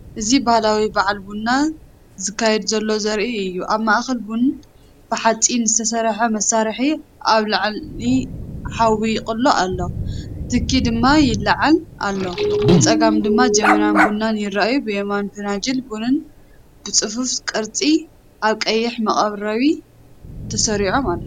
እዚ ባህላዊ በዓል ቡን ዝካየድ ዘሎ ዘርኢ እዩ። ኣብ ማእከል ቡን ብሓጺን ዝተሰርሐ መሳርሒ ኣብ ልዕሊ ሓዊ ይቅሎ ኣሎ፡ትኪ ድማ ይለዓል ኣሎ። ብጸጋም ድማ ጀበና ቡንን ይርአ። ብየማን፡ ፈናጅል ቡን ብጽፉፍ ቅርጺ ኣብ ቀይሕ መቅረቢ ተሰሪዖም ኣለዉ።